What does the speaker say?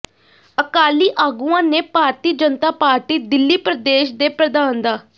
ਅਕਾਲੀ ਆਗੂਆਂ ਨੇ ਭਾਰਤੀ ਜਨਤਾ ਪਾਰਟੀ ਦਿੱਲੀ ਪ੍ਰਦੇਸ਼ ਦੇ ਪ੍ਰਧਾਨ ਡਾ